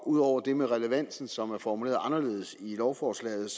ud over det med relevansen som er formuleret anderledes i lovforslaget